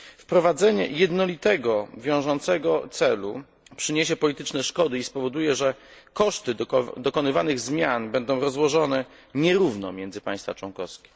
Wprowadzenie jednolitego wiążącego celu przyniesie polityczne szkody i spowoduje, że koszty dokonywanych zmian będą rozłożone nierówno między państwa członkowskie.